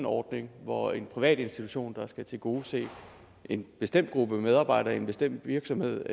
ordning hvor en privat institution der skal tilgodese en bestemt gruppe medarbejdere i en bestemt virksomhed